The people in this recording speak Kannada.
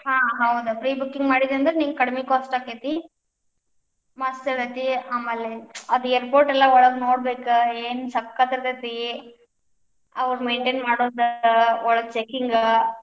ಹಾ ಹೌದ್ pre booking ಮಾಡಿದಿ ಅಂದ್ರ್ ನಿಂಗ್ ಕಡಮಿ cost ಆಕ್ಕೆತಿ. ಮಸ್ತ್ ಆಕ್ಕೆತಿ, ಆಮೇಲೇ ಆದ್ airport ಲ್ಲಾ ಒಳಗ್ ನೋಡ್ಬೇಕ ಏನ್ ಸಕ್ಕತ್ ಇರ್ತೇತಿ, ಅವ್ರ್ maintain ಮಾಡೋದ್ ಒಳಗ್ checking .